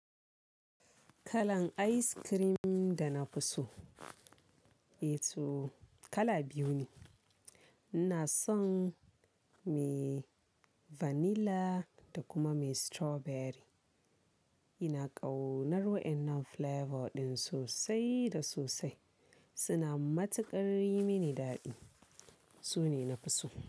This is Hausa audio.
Kalan ice cream dana fi so, eh toh kala biyu ne. Ina son me vanilla da kuma me strawberry. Ina ƙaunar wa'inan flavor ɗin sosai da sosai. Suna matuƙar yi mini daɗi. Su ne na fi so.